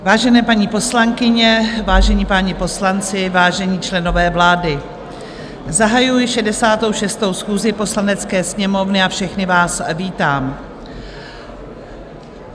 Vážené paní poslankyně, vážení páni poslanci, vážení členové vlády, zahajuji 66. schůzi Poslanecké sněmovny a všechny vás vítám.